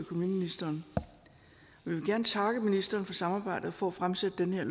vil gerne takke ministeren for samarbejdet og for at fremsætte det her